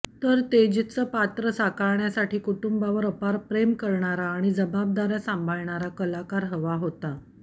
तर तेजचं पात्र साकारण्यासाठी कुटुंबावर अपार प्रेम करणारा आणि जबाबदाऱ्या सांभाळणारा कलाकार हवा होता